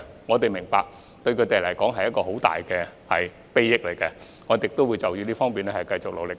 我們明白這類項目對他們大有裨益，我們亦會在這方面繼續努力。